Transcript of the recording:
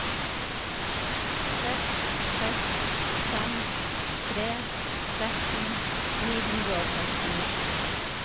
seks seks fem tre tretten ni hundre og tretten